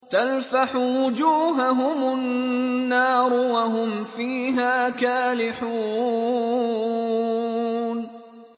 تَلْفَحُ وُجُوهَهُمُ النَّارُ وَهُمْ فِيهَا كَالِحُونَ